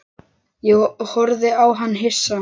Ég horfði á hann hissa.